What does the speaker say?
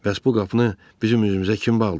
Bəs bu qapını bizim üzümüzə kim bağlayıb?